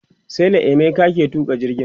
sela emeka ke tuƙa jirgin